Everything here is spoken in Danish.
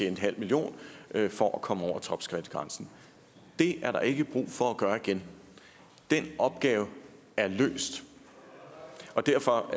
en halv million for at komme over topskattegrænsen det er der ikke brug for at gøre igen den opgave er løst og derfor